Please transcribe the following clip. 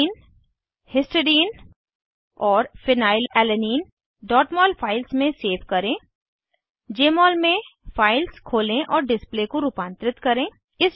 cysteine histidine और phenylalanine mol files में save करें जमोल में फाइल्स खोलें और डिस्प्ले को रूपांतरित करें